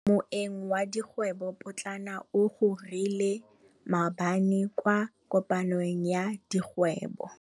Moêng wa dikgwêbô pôtlana o gorogile maabane kwa kopanong ya dikgwêbô.